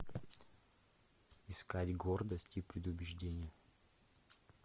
искать гордость и предубеждение